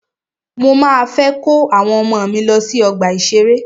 Mọ máa fẹ́ kó àwọn ọmọ mí lọ sí ọgbà ìṣẹ̀rẹ́.